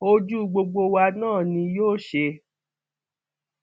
ojú gbogbo wa náà ni yóò ṣe